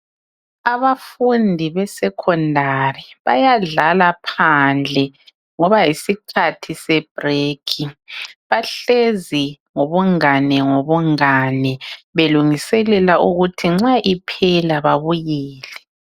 abafundi be secondary bayadlala phandle ngoba yisikhathi se break bahlezi ngobungani ngobungani belungiselela ukuthi nxa iphela babuyele